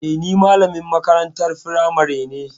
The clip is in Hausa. Eh, ni malamin makarantar firamari ne.